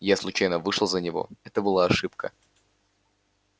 я случайно вышла за него это была ошибка